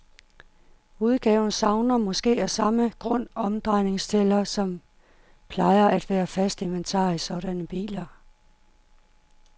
Udgaven savner måske af samme grund omdrejningstæller, som plejer at være fast inventar i sådanne biler.